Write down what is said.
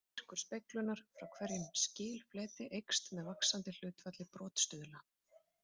Styrkur speglunar frá hverjum skilfleti eykst með vaxandi hlutfalli brotstuðla.